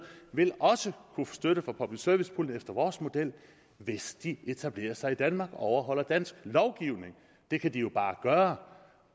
vil også kunne få støtte fra public service puljen efter vores model hvis de etablerer sig i danmark og overholder dansk lovgivning det kan de jo bare gøre